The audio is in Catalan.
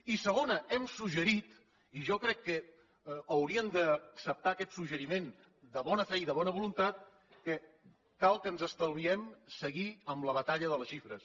i segona hem suggerit i jo crec que haurien d’acceptar aquest suggeriment de bona fe i de bona voluntat que cal que ens estalviem seguir amb la batalla de les xifres